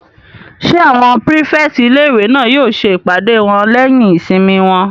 Ṣé àwọn pírífẹ̀tì ilé-ìwé náà yóò ṣe ìpàdé wọn lẹ́yìn ìsinmi wọn?